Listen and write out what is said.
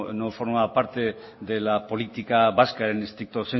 no formaba parte de la política vasca en stricto